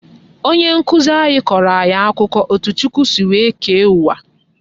Onye nkụzi anyị kọrọ anyị akụkọ etu Chukwu si wee kee uwa